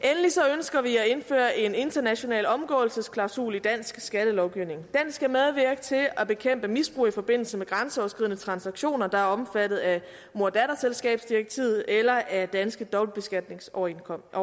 ønsker vi at indføre en international omgåelsesklausul i dansk skattelovgivning den skal medvirke til at bekæmpe misbrug i forbindelse med grænseoverskridende transaktioner der er omfattet af moder datterselskabsdirektivet eller af danske dobbeltbeskatningsoverenskomster